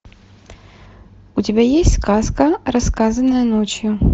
у тебя есть сказка рассказанная ночью